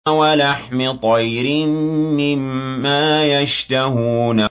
وَلَحْمِ طَيْرٍ مِّمَّا يَشْتَهُونَ